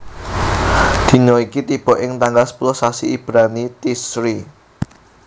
Dina iki tiba ing tanggal sepuluh sasi Ibrani Tishri